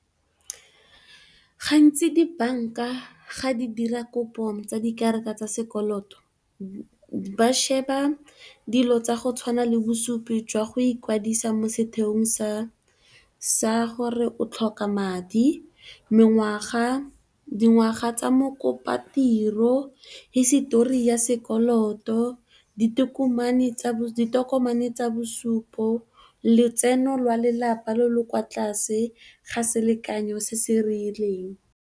Gantsi dibanka ga di dira kopo tsa dikarata tsa sekoloto ba sheba dilo tsa go tshwana le bosupi jwa go ikwadisa mo setheong sa gore o tlhoka madi, mengwaga, dingwaga tsa mokopa-tiro, hisitori ya sekoloto, ditokomane tsa bosupo, letseno lwa lelapa le le kwa tlase ga selekanyo se se rileng.